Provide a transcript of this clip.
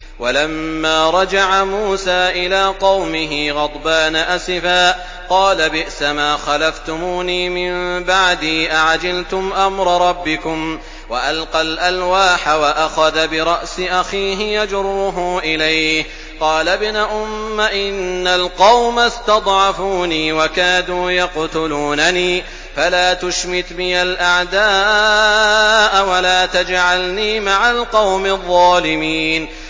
وَلَمَّا رَجَعَ مُوسَىٰ إِلَىٰ قَوْمِهِ غَضْبَانَ أَسِفًا قَالَ بِئْسَمَا خَلَفْتُمُونِي مِن بَعْدِي ۖ أَعَجِلْتُمْ أَمْرَ رَبِّكُمْ ۖ وَأَلْقَى الْأَلْوَاحَ وَأَخَذَ بِرَأْسِ أَخِيهِ يَجُرُّهُ إِلَيْهِ ۚ قَالَ ابْنَ أُمَّ إِنَّ الْقَوْمَ اسْتَضْعَفُونِي وَكَادُوا يَقْتُلُونَنِي فَلَا تُشْمِتْ بِيَ الْأَعْدَاءَ وَلَا تَجْعَلْنِي مَعَ الْقَوْمِ الظَّالِمِينَ